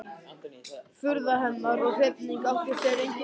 Furða hennar og hrifning átti sér engin takmörk.